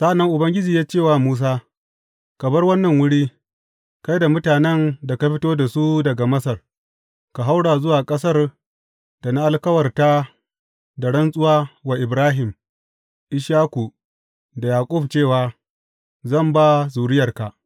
Sa’an nan Ubangiji ya ce wa Musa, Ka bar wannan wuri, kai da mutanen da ka fito da su daga Masar, ka haura zuwa ƙasar da na alkawarta da rantsuwa wa Ibrahim, Ishaku da Yaƙub cewa, Zan ba zuriyarka.’